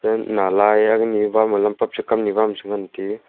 again Bama lampak che kamni Bama chengan tiu.